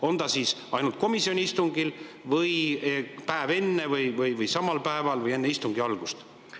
On see ainult komisjoni istungil või kuni päev enne või ka samal päeval või enne istungi algust?